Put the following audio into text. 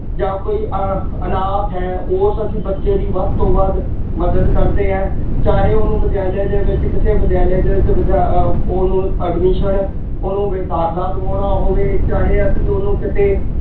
ਜਾਂ ਕੋਈ ਅ ਅਨਾਥ ਹੈ ਉਸ ਅਸ਼ੀਂ ਬੱਚੇ ਦੀ ਵੱਧ ਤੋਂ ਵੱਧ ਮਦਦ ਕਰਦੇ ਹਾਂ। ਚਾਹੇ ਉਹਨੂੰ ਵਿਦਿਆਲਿਆਂ ਦੇ ਵਿੱਚ ਕਿਸੇ ਵਿਦਿਆਲਿਆਂ ਦੇ ਵਿੱਚ ਵਿੱਦਿਆ ਅਹ ਉਹਨੂੰ admission ਉਹਨੂੰ ਬਈ ਦਾਖਲਾ ਦਿਵਾਉਣਾ ਹੋਵੇ, ਚਾਹੇ ਅਸੀਂ ਉਹਨੂੰ ਕਿਤੇ